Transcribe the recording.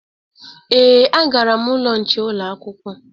Ee, agara m n'ụlọ nche ụlọakwụkwọ